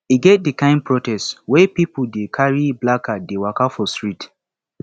e get di kain protest wey pipo dey carry placard dey waka for street